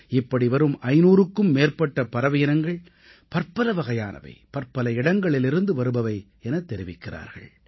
இப்படி வரும் 500க்கும் மேற்பட்ட பறவையினங்கள் பற்பல வகையானவை பற்பல இடங்களிலிருந்து வருபவை எனத் தெரிவிக்கிறார்கள்